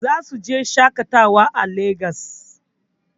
Zasu je shaƙatawa a Lagos.